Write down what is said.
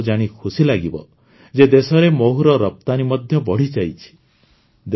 ଆପଣଙ୍କୁ ଜାଣି ଖୁସି ଲାଗିବ ଯେ ଦେଶରେ ମହୁର ରପ୍ତାନି ମଧ୍ୟ ବଢ଼ିଯାଇଛି